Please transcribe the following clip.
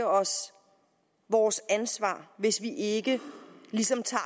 os vores ansvar hvis vi ikke ligesom tager